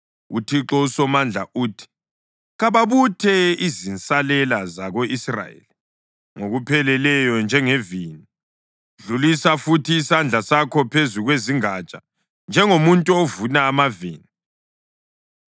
UThixo uSomandla uthi: “Kababuthe izinsalela zako-Israyeli ngokupheleleyo njengevini, dlulisa futhi isandla sakho phezu kwezingatsha, njengomuntu ovuna amavini.”